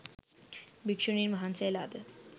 භික්‍ෂුණීන් වහන්සේලාද